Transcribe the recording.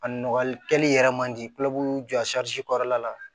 A nɔgɔlikɛli yɛrɛ man di kulɔbuw jɔ kɔrɔla la